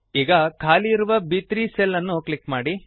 ಈಗ ಖಾಲಿಯಿರುವ ಬ್3 ಸೆಲ್ ಅನ್ನು ಕ್ಲಿಕ್ ಮಾಡಿ